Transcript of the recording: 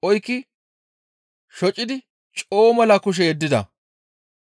Goshshanchchati ashkaraza oykki shocidi coo mela kushe yeddida.